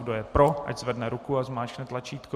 Kdo je pro, ať zvedne ruku a zmáčkne tlačítko.